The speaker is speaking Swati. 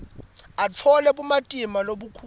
atfole bumatima lobukhulu